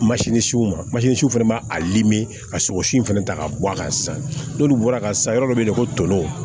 masiniw fɛnɛ b'a a ka sogo si in fɛnɛ ta k'a bɔ a kan sisan n'olu bɔra a kan sa yɔrɔ dɔ be yen ko tolinw